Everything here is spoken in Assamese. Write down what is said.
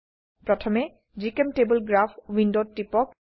প্ৰথমে জিচেম্টেবল গ্ৰাফ উইন্ডোত টিপক